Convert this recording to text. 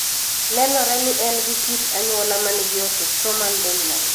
Nenore ni en gi kit anyuola manigi autosomal dominant.